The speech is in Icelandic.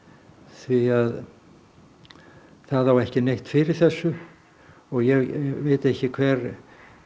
því það á ekki neitt fyrir þessu og ég veit ekki hver